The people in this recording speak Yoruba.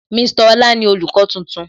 Mr Ọlá ni olùkọ́ tuntun